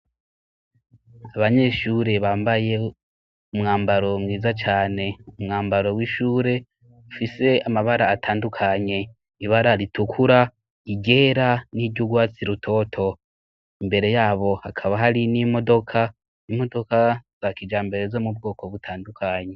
Abanyeshuri bambaye umwambaro mwiza cane umwambaro w'ishure mfise amabara atandukanye ibara ritukura igera n'iryougwatsi rutoto imbere yabo hakaba hari n'imodoka imodoka za kijambere zo mu bwoko butandukanye.